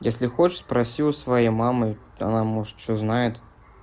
если хочешь спроси у своей мамы она может что знает